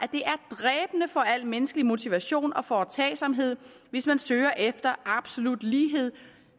at for al menneskelig motivation og foretagsomhed hvis man søger efter absolut lighed